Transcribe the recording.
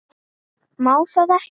Má það ekki?